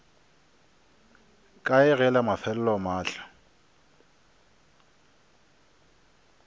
kae ge la mafelelo mahlo